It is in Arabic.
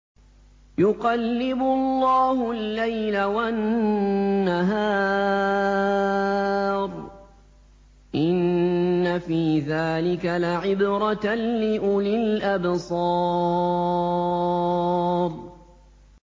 يُقَلِّبُ اللَّهُ اللَّيْلَ وَالنَّهَارَ ۚ إِنَّ فِي ذَٰلِكَ لَعِبْرَةً لِّأُولِي الْأَبْصَارِ